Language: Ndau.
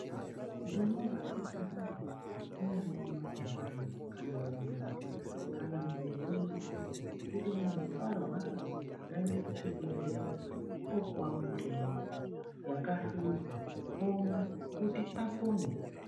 Nduma ngayi hambe kunyangwe ku majaha kana ku ndombi kana muntu weshe kuti munhu arwara ngaende ku chibhedhlera opuwa mutombo yaka hluzwa omwa kuti apone.